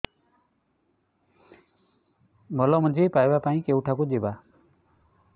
ଭଲ ମଞ୍ଜି ପାଇବା ପାଇଁ କେଉଁଠାକୁ ଯିବା